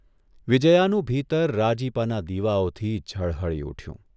વિજ્યાનું ભીતર રાજીપાના દીવાઓથી ઝળહળી ઊઠ્યું.